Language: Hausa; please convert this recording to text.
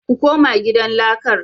Ku koma gidan lakar